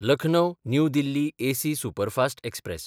Lucknow New Delhi AC superfast express